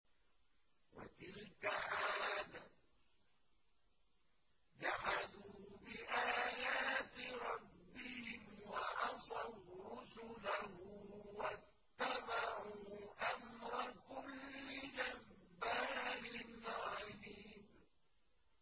وَتِلْكَ عَادٌ ۖ جَحَدُوا بِآيَاتِ رَبِّهِمْ وَعَصَوْا رُسُلَهُ وَاتَّبَعُوا أَمْرَ كُلِّ جَبَّارٍ عَنِيدٍ